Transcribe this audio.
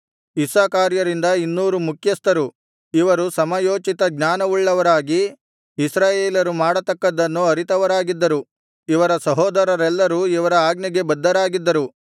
ಇಸ್ಸಾಕಾರ್ಯರಿಂದ ಇನ್ನೂರು ಮುಖ್ಯಸ್ಥರು ಇವರು ಸಮಯೋಚಿತಜ್ಞಾನವುಳ್ಳವರಾಗಿ ಇಸ್ರಾಯೇಲರು ಮಾಡತಕ್ಕದ್ದನ್ನು ಅರಿತವರಾಗಿದ್ದರು ಇವರ ಸಹೋದರರೆಲ್ಲರೂ ಇವರ ಆಜ್ಞೆಗೆ ಬದ್ಧರಾಗಿದ್ದರು